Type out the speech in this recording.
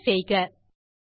enter செய்க